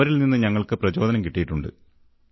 അവരിൽനിന്നും ഞങ്ങൾക്ക് പ്രചോദനം കിട്ടിയിട്ടുണ്ട്